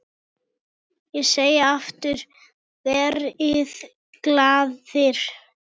Ég segi aftur: Verið glaðir.